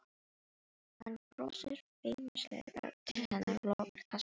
Hann brosir feimnislega til hennar og lokar kassanum.